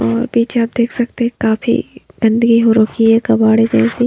और पीछे आप देख सकते है काफी गंदगी हो रखी है कबाड़े जैसी।